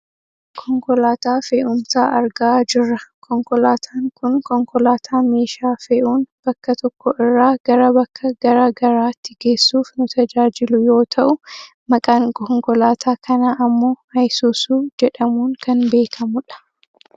Konkolaataa fe'umsaa argaa jirra. Konkolaataan kun konkolaataa meeshaa fe'uun bakka tokko irraaa gara bakka gara garaatti geessuuf nu tajaajilu yoo ta'u, maqaan konkolaataa kanaa ammoo isuusuu jedhamuun kan beekkamu dha.